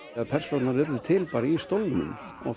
persónurnar urðu til í stólnum